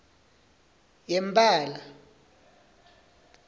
yempala